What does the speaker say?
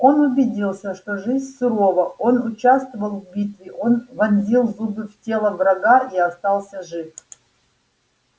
он убедился что жизнь сурова он участвовал в битве он вонзил зубы в тело врага и остался жив